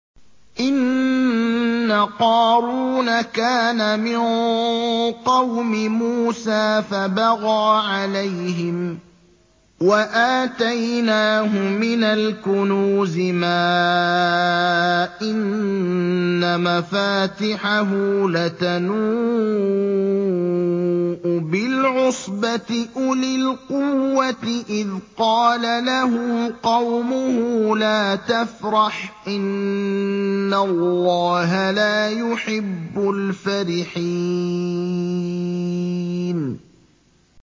۞ إِنَّ قَارُونَ كَانَ مِن قَوْمِ مُوسَىٰ فَبَغَىٰ عَلَيْهِمْ ۖ وَآتَيْنَاهُ مِنَ الْكُنُوزِ مَا إِنَّ مَفَاتِحَهُ لَتَنُوءُ بِالْعُصْبَةِ أُولِي الْقُوَّةِ إِذْ قَالَ لَهُ قَوْمُهُ لَا تَفْرَحْ ۖ إِنَّ اللَّهَ لَا يُحِبُّ الْفَرِحِينَ